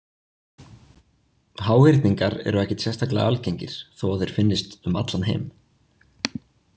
Háhyrningar eru ekkert sérstaklega algengir þó að þeir finnist um allan heim.